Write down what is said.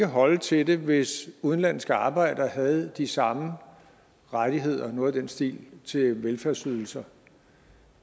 holde til det hvis udenlandske arbejdere havde de samme rettigheder noget i den stil til velfærdsydelser